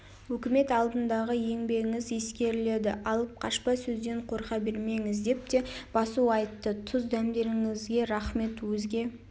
өкімет алдындағы еңбегіңіз ескеріледі алып-қашпа сөзден қорқа бермеңіз деп те басу айтты тұз дәмдеріңізге рақмет өзге